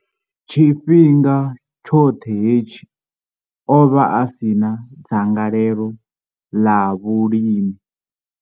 Tshifhinga tshoṱhe hetshi, o vha a si na dzangalelo ḽa vhulimi.